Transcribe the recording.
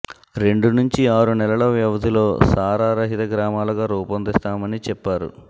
రెండు నుంచి ఆరు నెలల వ్యవధిలో సారా రహిత గ్రామాలుగా రూపొందిస్తామని చెప్పారు